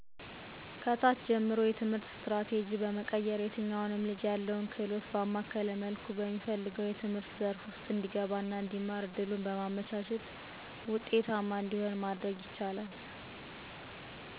ከታች ጀምሮ የትምህርትና ስትራቴጂ በመቀየር የትኛውንም ልጅ ያለውን ክህሎት ባማከለ መልኩ በሚፈልገው የትምህርት ዘርፍ ውስጥ እንዲገባና እንዲማር እድሉን በማመቻቸት